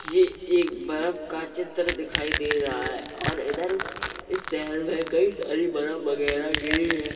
ये एक बरफ का चित्र दिखाई दे रहा है और इधर इस शहर में कई सारी बरफ वगैरह गिरी है।